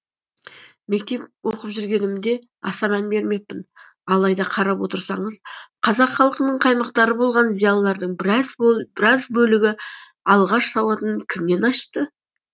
мектеп оқып жүргенімде аса мән бермеппін алайда қарап отырсаңыз қазақ халқының қаймақтары болған зиялылардың біраз бөлігі алғаш сауатын кімнен ашты